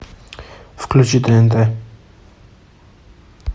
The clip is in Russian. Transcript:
включи тнт